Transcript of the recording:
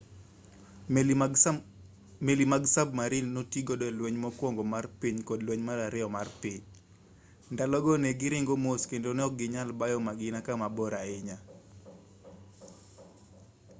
meli mag sabmarin notigodo e lweny mokuongo mar piny kod lweny mar ariyo mar piny ndalo go ne giringo mos kendo ne okginyal bayo magina kamabor ahinya